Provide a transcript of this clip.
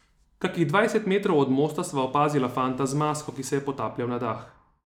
Kakih dvajset metrov od mosta sva opazila fanta z masko, ki se je potapljal na dah.